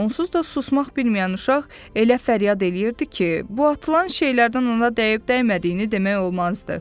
Onsuz da susmaq bilməyən uşaq elə fəryad eləyirdi ki, bu atılan şeylərdən ona dəyib-dəymədiyini demək olmazdı.